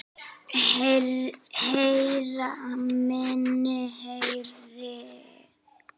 Heyra minni heyrn.